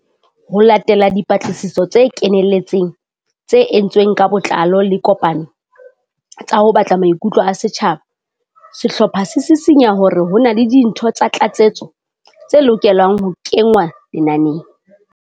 Ho latela dipatlisiso tse kenelletseng tse entsweng ka botlao le dikopano tsa ho batla maikutlo a setjhaba, sehlopha se sisinya hore ho na le dintho tsa tlatsetso tse lokelang ho kengwa lenaneng.